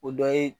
O dɔ ye